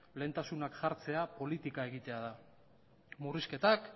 lehentasunak jartzea politika egitea dela murrizketak